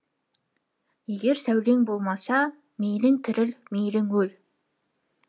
егер сәулең болмаса мейлің тіріл мейлің өл